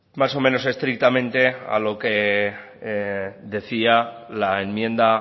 más o menos estrictamente a lo que decía la enmienda